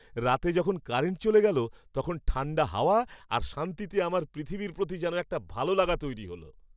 রাতে যখন কারেন্ট চলে গেল, তখন ঠাণ্ডা হাওয়া আর শান্তিতে আমার পৃথিবীর প্রতি যেন এক ভালো লাগা তৈরি হল।